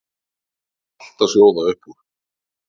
Það var allt að sjóða upp úr.